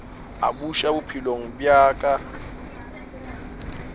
a buša bophelong bja ka